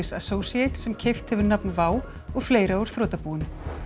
Associates sem keypt hefur nafn WOW og fleira úr þrotabúinu